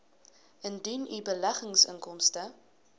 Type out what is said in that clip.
indien u beleggingsinkomste